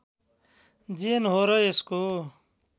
जेन हो र यसको